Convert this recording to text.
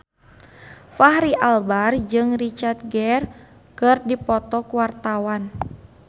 Fachri Albar jeung Richard Gere keur dipoto ku wartawan